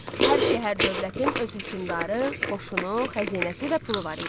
Hər şəhər-dövlətin öz hökmdarı, qoşunu, xəzinəsi və pulu var idi.